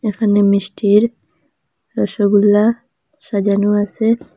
এখানে মিষ্টির রসগোল্লা সাজানো আসে।